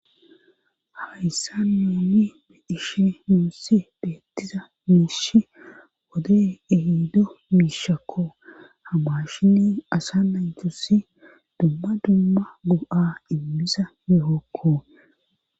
Hayssa muomi medishi muussi beettiza miish wode ehido miishakko hamashinni asa naytusi dumma dumma go7a immiza yuhokko.